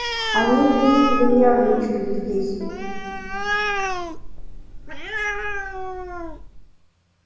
они видите ли нервничают здесь